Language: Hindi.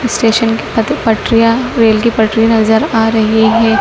स्टेशन की पटरियां रेल की पटरी नजर आ रही है।